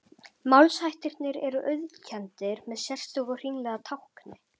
Málshættirnir eru auðkenndir með sérstöku hringlaga tákni.